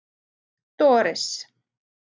Doris